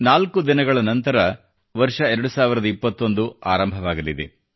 ನಾಲ್ಕು ದಿನಗಳ ನಂತರ 2021 ಆರಂಭವಾಗಲಿದೆ